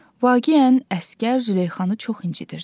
Vaqiən əsgər Züleyxanı çox incidirdi.